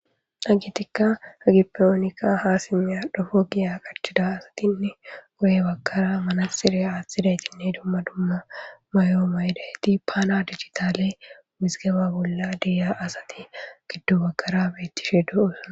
Hagetikka hagippe onikka ha simya dhofo giya qachida asatinne goye bakkara manasire aaththidaytinne dumma dumma mayo maydayti paana digitaley wizgeba bolla diya asati giddu bakara beettishe duusana